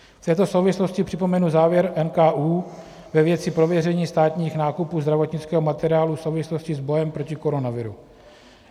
V této souvislosti připomenu závěr NKÚ ve věci prověření státních nákupů zdravotnického materiálu v souvislosti s bojem proti koronaviru.